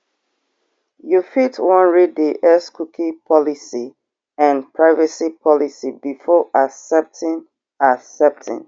you fit wan read di x cookie policy and privacy policy before accepting accepting